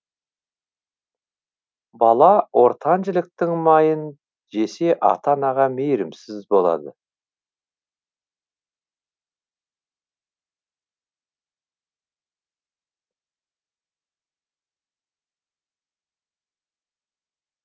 бала ортан жіліктің майын жесе ата анаға мейірімсіз болады